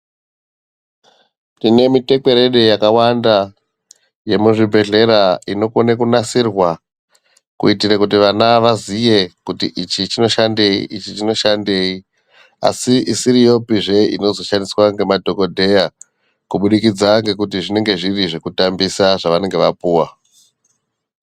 Tine mitekwerede yakawanda kudaro yemuzvibhedhlera inokone kunasirwa kuitire kuti vana vaziye kuti ichi chinoshandei ichi chinoshandei asi isiriyopi zvee inozoshandiswa ngemadhokodheya kuburikidza ngokuti zvinenge zviri zvokutambisa zvavanenge vapuwa.